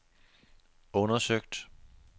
undersøgt